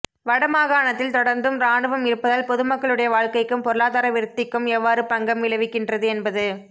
வடமாகாணத்தில் தொடர்ந்தும் இராணுவம் இருப்பதால் பொதுமக்களுடைய வாழ்க்கைக்கும் பொருளாதார விருத்திக்கும் எவ்வாறு பங்கம் விளைவிக்கின்றது என்பது